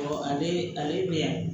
ale min